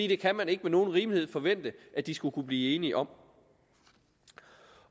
det kan man ikke med nogen rimelighed forvente at de skulle kunne blive enige om